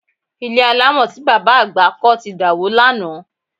Ilé alámọ̀ tí bàbá àgbà kọ́ ti dàwó lánàá